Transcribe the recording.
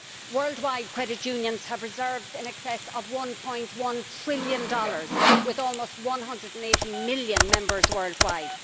Worldwide credit unions have reserves in excess of USD 1.1 trillion, with almost 180 million members worldwide.